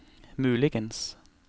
muligens